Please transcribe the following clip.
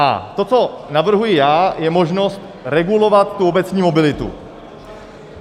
A to, co navrhuji já, je možnost regulovat tu obecní mobilitu.